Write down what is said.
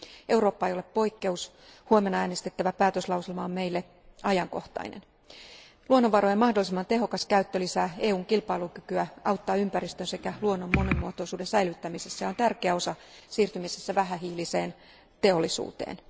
Eurooppa ei ole poikkeus, huomenna äänestettävä päätöslauselma on meille ajankohtainen. Luonnonvarojen mahdollisimman tehokas käyttö lisää EUn kilpailukykyä, auttaa ympäristön sekä luonnon monimuotoisuuden säilyttämisessä ja on tärkeä osa siirtymisessä vähähiiliseen teollisuuteen.